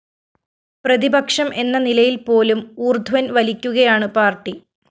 പ്രതിപക്ഷം എന്ന നിലയില്‍പോലും ഊര്‍ധ്വന്‍ വലിക്കുകയാണ് പാര്‍ട്ടി